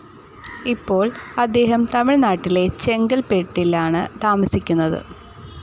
ഇപ്പോൾ അദ്ദേഹം തമിഴ്നാട്ടിലെ ചെങ്കൽപ്പെട്ടിലാണ് താമസിക്കുന്നത്.